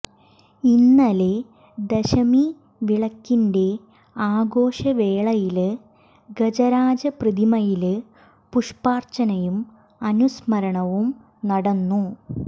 ഇന്നലെ ദശമി വിളക്കിന്റെ ആഘോഷവേളയില് ഗജരാജ പ്രതിമയില് പുഷ്പാര്ച്ചനയും അനുസ്മരണവും നടന്നു